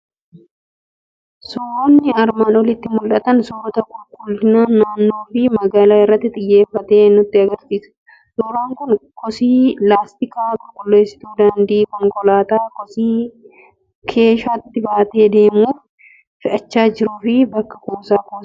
Suuronni armaan oliitti mul'atan suurota qulqullina naannoo fi magaaala irratti xiyyeeffate nutti argisiisa. Suuraan kun kosii laastikii, qulqulleessituu daandii, konkolaataa kosii keeshaatti baatee deemuuf fe'achaa jiruu fi bakka kuusaa kosii argisiisa.